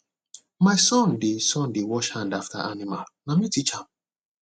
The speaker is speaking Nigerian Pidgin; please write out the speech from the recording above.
my son dey son dey wash hand after animal na me teach am